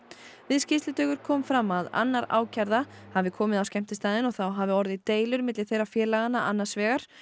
við skýrslutökur kom fram að annar ákærða hafi komið á skemmtistaðinn og þá hafi orðið deilur milli þeirra félaganna annars vegar